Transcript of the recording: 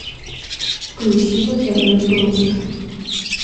включи на тв точка